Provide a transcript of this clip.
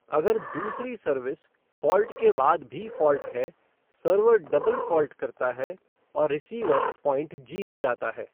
अगर दूसरी service, fault के बाद भी फ़ॉल्ट है, सर्वर डबल फ़ॉल्ट करता है, और रिसीवर पॉइंट जीत जाता है।